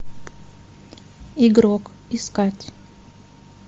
игрок искать